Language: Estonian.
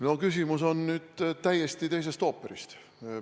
No küsimus on nüüd täiesti teisest ooperist.